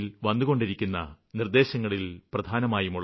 ല് വന്നുകൊണ്ടിരിക്കുന്ന നിര്ദ്ദേശങ്ങളില് പ്രധാനമായും